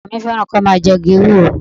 Ọkọ mi fẹ́ràn kí ó máa jẹ igi ewúro